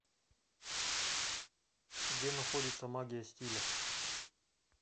где находится магия стиля